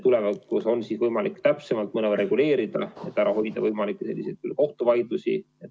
Tulevikus on võimalik seda mõnevõrra täpsemalt reguleerida, et ära hoida võimalikke kohtuvaidlusi.